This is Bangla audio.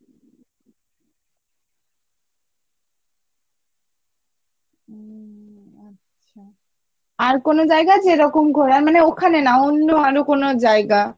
উম আচ্ছা, আর কোনো জায়গা যেরকম ঘোরার মানে ওখানে না অন্য আরো কোনো জায়গা?